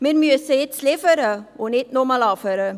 Wir müssen nun liefern und nicht nur labern.